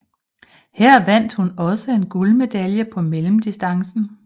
Her vandt hun også en guldmedalje på mellemdistancen